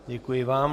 Děkuji vám.